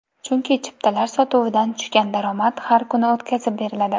Chunki chiptalar sotuvidan tushgan daromad har kuni o‘tkazib beriladi.